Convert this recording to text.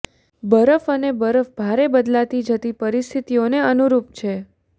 બરફ અને બરફ ભારે બદલાતી જતી પરિસ્થિતિઓને અનુરૂપ છે